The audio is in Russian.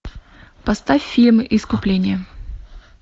поставь фильм искупление